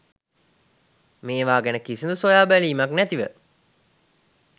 මේවා ගැන කිසිදු සොයාබැලීමක් නැතිව